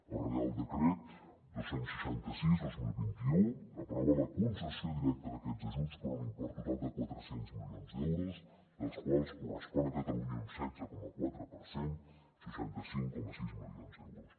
el reial decret dos cents i seixanta sis dos mil vint u aprova la concessió directa d’aquests ajuts per un import total de quatre cents milions d’euros dels quals corresponen a catalunya un setze coma quatre per cent seixanta cinc coma sis milions d’euros